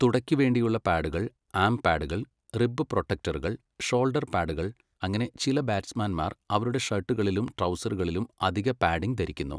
തുടയ്ക്ക് വേണ്ടിയുള്ള പാഡുകൾ, ആം പാഡുകൾ, റിബ് പ്രൊട്ടക്ടറുകൾ, ഷോൾഡർ പാഡുകൾ അങ്ങനെ ചില ബാറ്റ്സ്മാൻമാർ അവരുടെ ഷർട്ടുകളിലും ട്രൗസറുകളിലും അധിക പാഡിംഗ് ധരിക്കുന്നു.